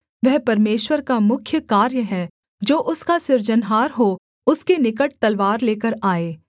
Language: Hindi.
वह परमेश्वर का मुख्य कार्य है जो उसका सृजनहार हो उसके निकट तलवार लेकर आए